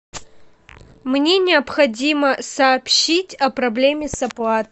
мне необходимо сообщить о проблеме с оплатой